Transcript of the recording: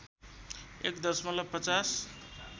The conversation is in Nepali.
१ दशमलव ५०